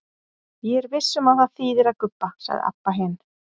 Ég er viss um að það þýðir að gubba, sagði Abba hin.